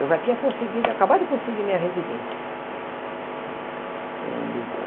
Eu já tinha conseguido, acabado de conseguir minha residência em Lisboa.